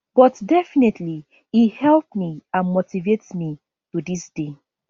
but definitely e help me and motivate me to dis day